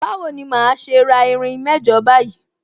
Bawo ni màá ṣe ra irin mẹ́jọ báyìí?